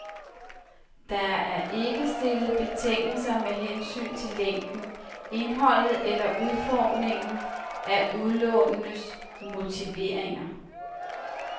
Der er ikke stillet betingelser med hensyn til længden, indholdet eller udformningen af udlånernes motiveringer.